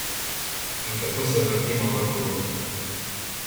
In tako se vrtimo v krogu.